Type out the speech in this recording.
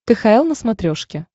кхл на смотрешке